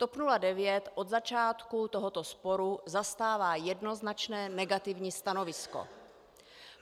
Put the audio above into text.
TOP 09 od začátku tohoto sporu zastává jednoznačné negativní stanovisko.